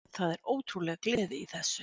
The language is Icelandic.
Það er ótrúleg gleði í þessu